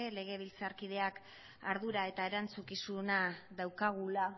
legebiltzarkideak ardura eta erantzukizuna daukagula